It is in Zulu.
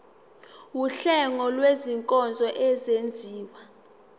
wuhlengo lwezinkonzo ezenziwa